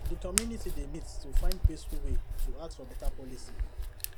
the community dey meet to find peaceful way to ask for better policy